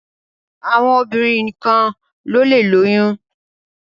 Àwọn obìrin nìkan ló lẹ lóyún.